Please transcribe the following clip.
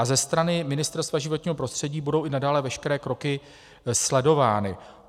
A ze strany Ministerstva životního prostředí budou i nadále veškeré kroky sledovány.